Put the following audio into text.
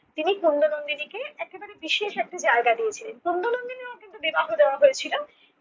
তিনি কুন্দ নন্দিনীকে একেবারে বিশেষ একটি জায়গা দিয়েছিলন। কুন্দ নন্দিনীরও কিন্তু বিবাহ দেওয়া হয়েছিল